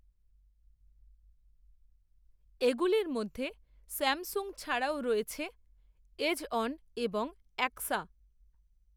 এগুলির মধ্যে স্যামসুং ছাড়াও রয়েছে এজঅন এবং অ্যাক্সা